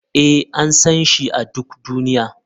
Ee, an san shi a duk duniya.